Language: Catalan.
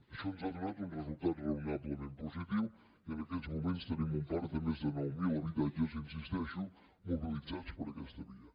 això ens ha donat un resultat raonablement positiu i en aquests moments tenim un parc de més de nou mil habitatges hi insisteixo mobilitzats per aquesta via